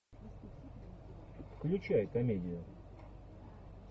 включай комедию